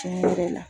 Tiɲɛ yɛrɛ la